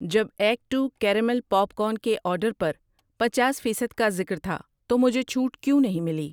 جب act two caramel popcorn کے order پر پنچاس فیصد کا ذکر تھا تو مجھے چھوٹ کیوں نہیں ملی؟